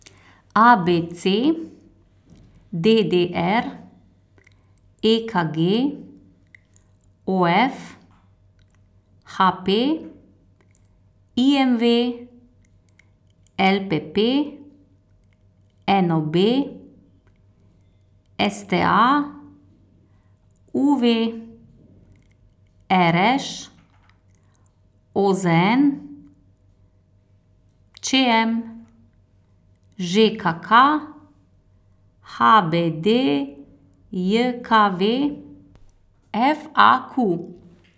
A B C; D D R; E K G; O F; H P; I M V; L P P; N O B; S T A; U V; R Š; O Z N; Č M; Ž K K; H B D J K V; F A Q.